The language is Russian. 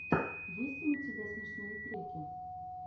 есть ли у тебя смешные треки